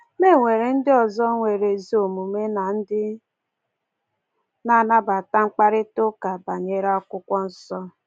Ma e nwere ndị ọzọ nwere ezi omume na ndị na-anabata mkparịtaụka banyere Akwụkwọ Nsọ.”